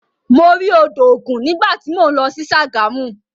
Mo rí odò ògun nígbà tí mò ń lọ sí Ṣàgámù.